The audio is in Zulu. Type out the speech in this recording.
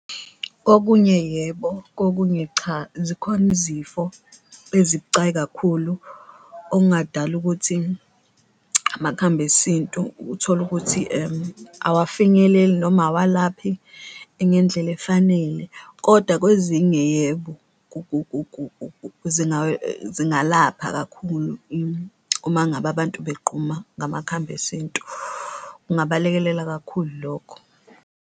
Kokunye yebo, kokunye cha zikhona izifo ezibucayi kakhulu okungadala ukuthi amakhambi esintu utholukuthi awafinyeleli noma awalaphi ngendlela efanele kodwa kwezinye yebo, zingalapha kakhulu uma ngabe abantu begquma ngamakhambi esintu. Kungabalekelela kakhulu lokho.